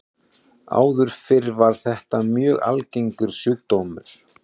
Áður fyrr var þetta mjög algengur sjúkdómur.